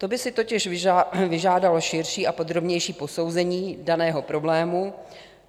To by si totiž vyžádalo širší a podrobnější posouzení daného problému.